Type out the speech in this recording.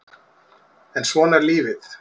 En svona er lífið